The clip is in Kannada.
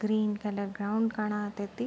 Green colour ground ಕಾಣಾತೈತಿ.